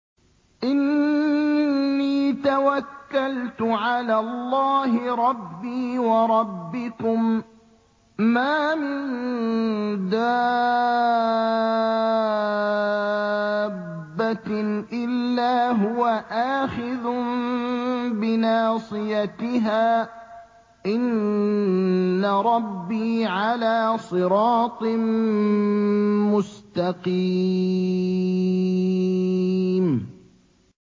إِنِّي تَوَكَّلْتُ عَلَى اللَّهِ رَبِّي وَرَبِّكُم ۚ مَّا مِن دَابَّةٍ إِلَّا هُوَ آخِذٌ بِنَاصِيَتِهَا ۚ إِنَّ رَبِّي عَلَىٰ صِرَاطٍ مُّسْتَقِيمٍ